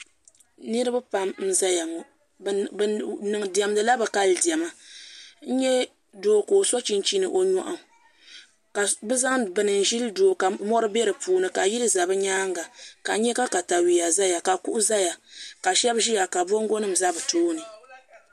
Niriba pam n-zaya ŋɔ bɛ diɛmdila bɛ kali diɛma n-nya doo ka o so chinchini o nyɔɣu ka bɛ zaŋ bini n-ʒili doo ka yili za bɛ nyaaŋa ka n nya ka katawia zaya ka kuɣu zaya ka shɛba ʒiya ka bɔŋgɔnima za bɛ tooni